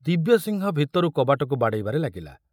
ଦିବ୍ୟସିଂହ ଭିତରୁ କବାଟକୁ ବାଡ଼େଇବାରେ ଲାଗିଲା।